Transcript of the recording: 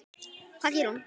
Hvað gerir hún?